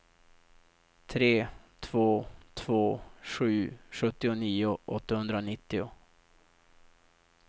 tre två två sju sjuttionio åttahundranittio